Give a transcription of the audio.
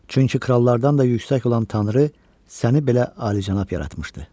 Çünki krallardan da yüksək olan tanrı səni belə ali-cənab yaratmışdı.